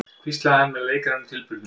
hvíslaði hann með leikrænum tilburðum.